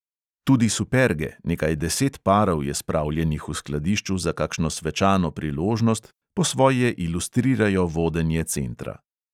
Tudi superge, nekaj deset parov je spravljenih v skladišču za kakšno svečano priložnost, po svoje ilustrirajo vodenje centra.